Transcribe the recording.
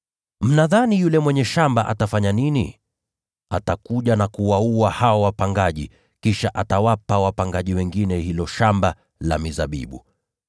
“Sasa basi yule mwenye shamba atafanya nini? Atakuja na kuwaua hao wapangaji, kisha atawapa wapangaji wengine hilo shamba la mizabibu.